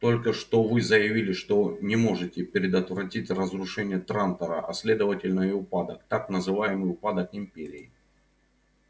только что вы заявили что не можете предотвратить разрушение трантора а следовательно и упадок так называемый упадок империи